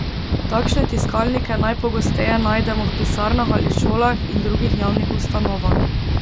Takšne tiskalnike najpogosteje najdemo v pisarnah ali šolah in drugih javnih ustanovah.